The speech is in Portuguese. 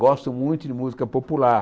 Gosto muito de música popular.